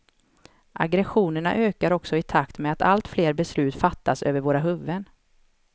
Aggressionerna ökar också i takt med att alltfler beslut fattas över våra huvuden.